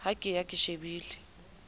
ha ke ya ke shebile